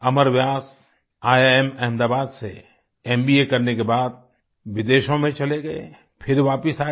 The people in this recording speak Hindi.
अमर व्यास ईआईएम अहमदाबाद से एमबीए करने के बाद विदेशों में चले गए फिर वापिस आए